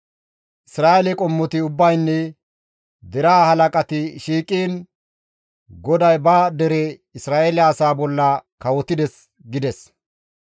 Isra7eele qommoti ubbaynne deraa halaqati shiiqiin GODAY ba dere Isra7eele asaa bolla kawotides» gides.